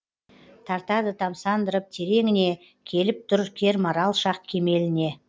тартады тамсандырып тереңіне келіп тұр кермарал шақ кемеліне